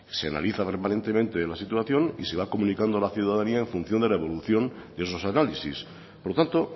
se analiza permanentemente la situación y se va comunicando a la ciudadanía en función de la evolución de esos análisis por lo tanto